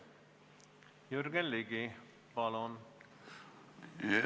Jürgen Ligi, palun!